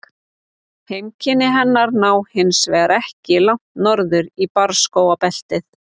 Heimkynni hennar ná hins vegar ekki langt norður í barrskógabeltið.